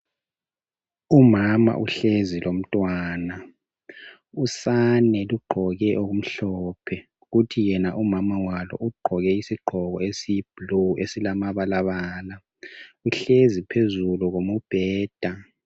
Umama uhlezi lomntwana, usane lugqoke okumhlophe kuthi yena umama walo ugqoke isigqoko esiyiblue esilama balabala, uhlezi phezulu komubheda.